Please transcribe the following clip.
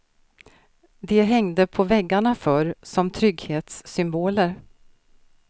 De hängde på väggarna förr, som trygghetssymboler.